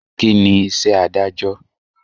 Kíni iṣẹ́ Ádájọ́?